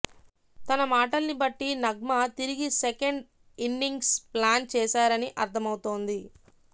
తన మాటల్ని బట్టి నగ్మ తిరిగి సెకండ్ ఇన్నింగ్స్ ప్లాన్ చేశారనే అర్థమవుతోంది